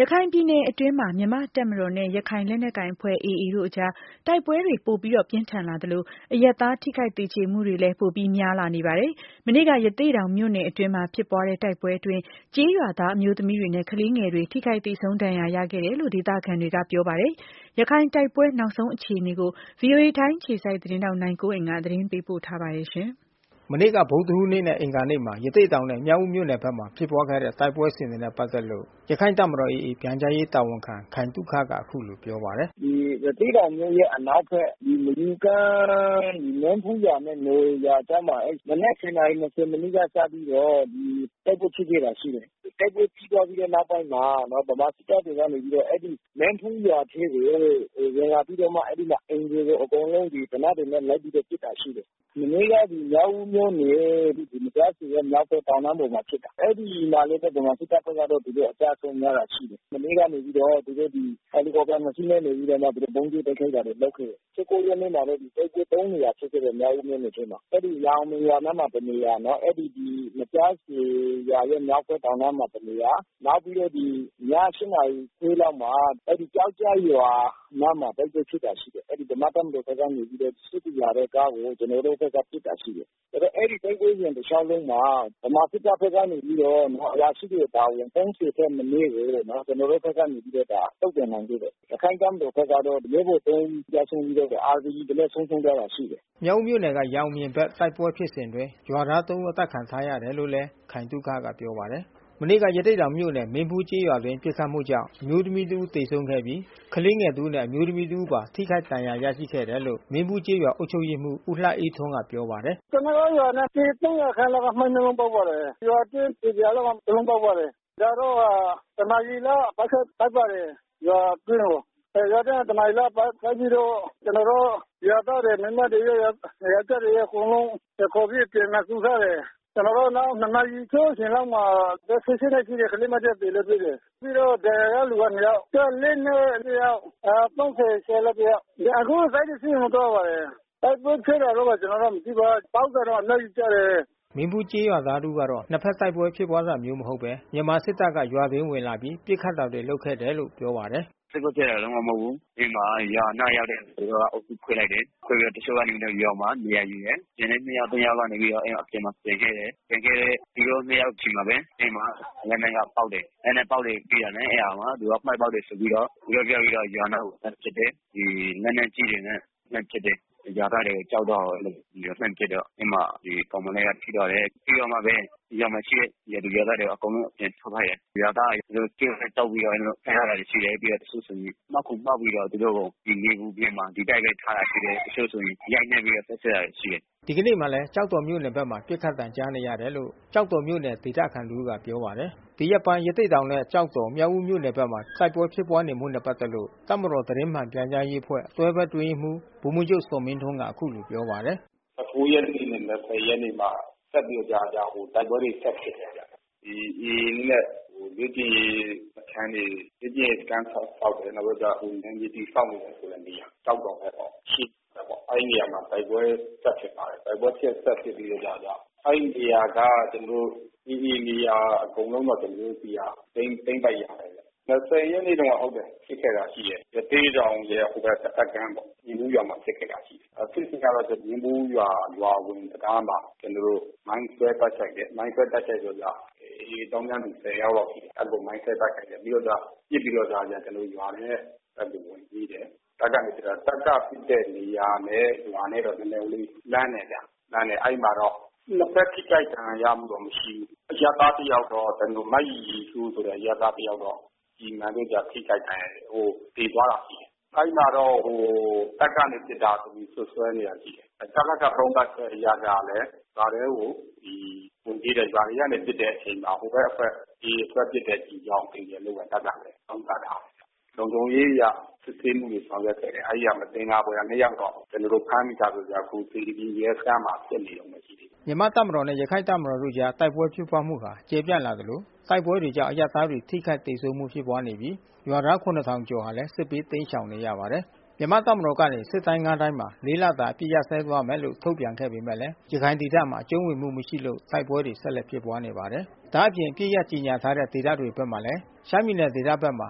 ရခိုင်ပြည်နယ်အတွင်းမှာ မြန်မာ့တပ်မတော်နဲ့ ရခိုင်လက်နက်ကိုင်အဖွဲ့AA တို့အကြား တိုက်ပွဲတွေ ပိုပြင်းထန် လာသလို အရပ်သား ထိခိုက်သေကြေမှုတွေလည်း ပိုဖြစ်လာနေပါတယ်။ မနေ့က ရသေ့တောင်မြို့နယ်အတွင်းမှာ ဖြစ်ပွားတဲ့ တိုက်ပွဲအတွင်း ကျေးရွာသားအမျိုးသမီးတွေနဲ့ ကလေးငယ်တွေ ထိခိုက်သေဆုံးဒဏ်ရာ ရရှိခဲ့တယ်လို ဒေသခံတွေကပြောပါတယ်။ ရခိုင် တိုက်ပွဲ နောက်ဆုံး အခြေအနေကိုတော့ ဗွီအိုအေထိုင်းအခြေစိုက် သတင်းထောက် နိုင်ကွန်းအိန်က သတင်းပေးပို့ထားပါတယ်။ မနေ့က ဗုဒ္ဓဟူးနေ့နဲ့အင်္ဂါနေ့မှာ ရသေ့တောင်နဲ့မြောက်ဦးမြို့နယ်ဖက်မှာဖြစ်ပွားခဲ့တဲ့ တိုက်ပွဲစဉ်တွေနဲ့ပက်သက်လို့ရခိုင့်တပ်မတော် AAပြန်ကြားရေး တာဝန်ခံ ခိုင်သုခက အခုလိုပြောပါတယ်။ “ရသေ့တောင်မြို့ရဲ့အနောက်ဖက် မယူကမ်း မင်းဖူးရွာနဲ့နော်ဝေရွာကြားမှာ မနက် နာရီနဲ့ မိနစ်က စပြီး တော့ တိုက်ပွဲဖြစ်ခဲ့တာရှိတယ်။ တိုက်ပွဲပြီးသွားတော့နောက်ပိုင်းမှာ ဗမာစစ်တပ် ကနေပြီးတော့ အဲဒီ မင်းဖူးရွာထဲကို ဝင်လာပြီးတော့မှ အဲဒီမှာအိမ်တွေကို အကုန်လုံး သေနတ် တွေနဲ့လိုက်ပြီးတော့ ပစ်တာရှိတယ်။ မနေ့ကမြောက်ဦးမြို့ နယ် မကျားဆည်ရွာ မြောက်ဖက်တောင်တန်း ပေါ်မှာဖြစ်တာ။ အဲဒီမှာလဲ ဗမာစစ်တပ်ဖက်ကအကျဆုံးများတာရှိ တယ်။ မနေ့ကနေပြီးတော့ သူတို့helicopter နှစ်စီးနဲ့ ဗုံးကြဲတိုက်ခိုက်တာတွေလုပ်ခဲ့တယ်။ ရက်နေ့ မှာတော့ တိုက်ပွဲ နေရာ ဖြစ်ခဲ့တယ်။ မြောက်ဦးမြို့နယ်ထဲမှာ။ အဲဒီရန်အောင်မြင်နားမှာတနေရာ အဲဒီ မကျားဆည်ရွာ မြောက်ဖက်တောင်တန်းပေါ်မှာတနေရာ နောက်ပြီးတော့ဒီ ည နာရီခွဲလောက်မှာ အဲဒီကျောက်ကြပ်ရွာအနားမှာ တိုက်ပွဲဖြစ်ခဲ့တာရှိတယ်။ ဗမာ့တပ်မတော် ဖက်က စစ်ကူလာတဲ့ကားကို ကျွန်တော်တို့ဖက်က ပစ်တာရှိတယ်။ အဲဒီ တိုက်ပွဲစဉ်တလျှောက်လုံးမှာ ဗမာစစ်တပ် ဖက်က အရာရှိတွေအပါအဝင် ထက်မနည်း ကျွန်တော်တို့ဖက်က တုံ့ ပြန်နိုင်ခဲ့တယ်။ ရခိုင့်တပ်မတော်ဘက်ကတော့ ရဲဘော် ဦးကျဆုံးပြီးတော့ RPG တလက်ဆုံးရှှုံးသွားတာရှိတယ်။” မြောက်ဦးမြို့နယ်က ရန်အောင်မြင်ဘက် တိုက်ပွဲဖြစ်စဉ်အတွင်း ရွာသား ဦး အသတ်ခံထားရတယ် လို့လဲ ခိုင်သုခက ပြောပါတယ်။ မနေ့က ရသေ့တောင်မြို့နယ် မင်းဖူးကျေးရွာအတွင်း ပစ်ခတ်မှုကြောင့် အမျိုးသမီးတဦး သေဆုံးပြီး ကလေးငယ် တဦးနဲ့ အမျိုးသမီးတဦးပါ ထိခိုက်ဒဏ်ရာ ရရှိခဲ့တယ်လို့ မင်းဖူးကျေးရွာ အုပ်ချုပ်ရေးမှူး ဦးလှအေးထွန်း ကပြော ပါတယ်။ “ကျွန်တော်တို့ရွာနဲ့ပေ လောက်က မိုင်းတလုံး ပေါက်ပါတယ်။ ရွာအတွင်းပေ လောက်က တလုံးပေါက် ပါတယ်။ နောက်တော့ တနာရီလောက် စစ်တပ်ဆိုက်ရောက် လာပါတယ် ရွာထဲကို။ ရွာထဲကို တနာရီလောက် ဆိုက် ပြီးတော့ ကျွန်တော်တို့ရွာသားကို မိန်းမတွေရော ယောကျ်ားတွေရော အကုန်လုံးခေါ်ပြီး တနေရာစုထားတယ်။ ကျွန်တော်တို့၂ နာရီ လောက်မှာ အသက် နှစ် ကလေးမတယောက်သေတယ်လို့ပြောတယ်။ ပြီးတော့ဒဏ်ရာရ သူကနှစ်ယောက်။ အသက် နှစ်တယောက်။ အသက် ကျော်လောက် တယောက်။ အခုစစ်တွေဆေးရုံမှာသွား ပါတယ်။ တိုက်ပွဲဖြစ်တယ်လို့ကျွန်တော်တို့မသိပါ။ ပေါက်တာတော့အလုံးကြီးကျတယ်။” မင်းဖူးကျေးရွာသားတဦးကတော့ နှစ်ဘက် တိုက်ပွဲဖြစ်ပွားတာမျိုး မဟုတ်ဘဲနဲ့ မြန်မာစစ်တပ်က ရွာအတွင်းကို ဝင်လာပြီး ပစ်ခတ်တာတွေ လုပ်ခဲ့တာလို့ ပြောပါတယ်။ “တိုက်ပွဲဖြစ်တာ လုံးဝမဟုတ်ဘူး။ ရွာနားရောက်တော့ သူတို့အုပ်စု ခွဲလိုက်တယ်။ ခွဲပြီးတော့ တချို့ကရွာမှာ နေရာယူတယ်။ ကျန်တဲ့ နှစ်ယောက်သုံးယောက်က အပြင်မှာကျန်ခဲ့တယ်။ ကျန်ခဲ့တဲ့ သူတို့နှစ်ယောက် ဆီမှာဘဲ အဲဒီမှာလက်နက်က ပေါက်တယ်။ လက်နက်ပေါက်တာပြီးတာနဲ့ အဲတာမှာ မိုင်းပေါက်တယ် ဆိုပြီးတော့ သူတို့ပြောပြီးတော့ ရွာနားကိုလှမ်းပစ်တယ်။ လက်နက်ကြီးတွေနဲ့လှမ်းပစ်တယ်။ ရွာသားတွေကြောက်လန့်အောင် အဲဒီလိုမျိုးလှမ်းပစ်တော့ ကောင်မလေးက ထိသွားတယ်။ ပြီးတော့ရွာထဲမှာရှိတဲ့ ရွာသူရွာသားတွေ အကုန်လုံး အပြင်ထုတ်ခိုင်းတယ်။ ရွာသား တွေသူတို့ကြိုးနဲ့တုတ်ပြီးတော့ ဖမ်းထားတာတွေရှိတယ်။ ပြီးတော့ တချို့ ဆိုရင်မှောက်ခုံမှောက်ပြီးတော့ သူတို့ကို နေပူပြင်မှာ ဒီအတိုင်းဘဲထားတာရှိတယ်။ တချို့ဆိုရင်ရိုက်နှက်ပြီးတော့ ပုတ်ခတ်တာတွေရှိတယ်။” ဒီကနေ့မှာလဲ ကျောက်တော်မြို့နယ်ဘက်မှာ ပစ်ခတ်သံကြားနေရတယ်လို့ ကျောက်တော်မြို့နယ် ဒေသခံ တဦးကပြောပါတယ်။ ဒီရက်ပိုင်းရသေ့တောင်နဲ့ကျောက်တော် မြောက်ဦးမြို့နယ်ဖက်မှာ တိုက်ပွဲဖြစ်ပွါးနေမှုနဲ့ပက်သက်လို့ တပ်မတော် သတင်းမှန်ပြန်ကြားရေးအဖွဲ့ တွဲဘက် အတွင်းရေးမှူးဗိုလ်မှူး ချုပ် ဇော်မင်းထွန်းကအခုလိုပြောပါတယ်။ ရက်နေ့နဲ့ ရက်နေ့မှာ ဆက်ပြီးတော့မကြာမကြာတိုက်ပွဲတွေဆက်ဖြစ်နေတယ်။ ဒီAAရဲ့ လေ့ကျင့်ရေးစခန်းတွေ ဆောက်တယ် ။ နယ်မြေတည်ဆောက်တယ်ဆိုတဲ့နေရာ ကျောက်တော်ဘက်မှာ ရှိနေတာပေါ့။ အဲဒီနေရာမှာ တိုက်ပွဲဆက်ဖြစ်ပါတယ်။ တိုက်ပွဲဆက်ဖြစ်ပြီးတော့ အဲဒီနေရာကကျွန်တော်တို့ AAနေရာအကုန်လုံးတော့ ကျွန်တော်တို့သိမ်းပိုက်ရပါတယ်။ ရက်နေ့တော့ဟုတ်တယ်။ ဖြစ်ခဲ့တာရှိတယ်။ ရသေ့တောင်ရဲ့ ဟိုဖက်တဖက် ကမ်းပေါ့။ မင်းဖူးရွာမှာဖြစ်ခဲ့တာရှိတယ်။ ဖြစ်စဉ်ကတော့မင်းဖူးရွာရဲ့ရွာအဝင်တံတားမှာ ကျွန်တော်တို့မိုင်းခွဲတိုက် ခိုက်တယ်။ မိုင်းခွဲတိုက်ခိုက်တဲ့ အတွက်ကြောင့် AAသောင်းကျန်းသူ ယောက်လောက် အဲဒီလိုမိုင်းခွဲတိုက်ခိုက်ခဲ့ တယ်။ ပြီးတော့က ပစ်ပြီးတော့ ဒါ ရွာထဲဝင်ပြေးတယ်။ တပ်က ပစ်တဲ့နေရာနဲ့ရွာနဲ့တော့နည်းနည်းလေး လှမ်းတယ်ဗျ။ အဲဒီမှာ တော့ နှစ်ဖက်ထိခိုက်ဒဏ်ရာရမှုတော့မရှိဘူး။ အရပ်သားတယောက်တော့ မရီရီစိုး အရပ်သားတယောက်တော့ ကျည်မှန်ပြီးတော့ထိခိုက်ဒဏ်ရာရတာ သေသွားတာမရှိဘူး။ အဲဒီမှာ ဟိုတပ်ကနေပြီးတော့ပစ်တာလို့စွပ်စွဲနေတာရှိတယ်။ တပ်ဖက်ကသုံးသပ်ချက်အရကလဲ ရွာထဲကိုဝင်ပြေးတယ်။ ရွာထဲကနေပစ်တဲ့အချိန်မှာ ဟိုဖက်အဖွဲ့AA အဖွဲ့ ပစ်တဲ့ ကျည်ကြောင့် သေတယ်လို့တော့တပ်ကနေသုံးသပ်ထားတယ်။ လုံခြုံရေးအရစစ်ဆေးမှုတွေဆောင်ရွက်ခဲ့တယ်။ အဲဒီဟာနဲ့မသင်္ကာဖွယ်၂ ယောက်တော့ ကျွန်တော်တို့ဖမ်းမိထားပြီးအခုစေတီဖြူရဲစခန်းမှာ စစ်နေတယ်။” မြန်မာ့တပ်မတော်နဲ့ရခိုင့်တပ်မတော်တို့အကြားတိုက်ပွဲဖြစ်ပွား မှုဟာ ကျယ်ပြန့်လာသလို တိုက်ပွဲတွေကြောင့် အရပ်သားတွေထိခိုက်သေဆုံးမှုဖြစ်ပွားနေပြီး ရွာသား ကျော်ဟာလဲ စစ်ဘေး တိမ်းရှောင်နေရပါတယ်။ မြန်မာ့တပ်မတော်ကနေ စစ်တိုင်း တိုင်းမှာ လတာအပစ်ရပ်စဲသွားမယ်လို့ထုတ်ပြန်ခဲ့ပေမဲ့ ရခိုင်ဒေသ ဘက်မှာ အကြုံးဝင်မှု မရှိလို့တိုက်ပွဲတွေဆက်လက်ဖြစ်ပွား နေပါတယ်။ ဒါအပြင် အပစ်ရပ်ကြေညာထားတဲ့ဒေသတွေဘက်မှာလဲ ရှမ်းပြည်နယ်ဒေသဘက်မှာ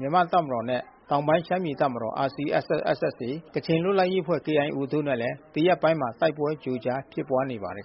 မြန်မာ့တပ်မတော်နဲ့ တောင် ပိုင်းရှမ်းပြည်တပ်မတော်RCSS/SSA ကချင်လွတ်လပ်ရေးအဖွဲ့ KIOတို့နဲ့လဲ ဒီရက်ပိုင်းအတွင်း တိုက်ပွဲကြိုကြား ဖြစ်ပွားနေပါတယ်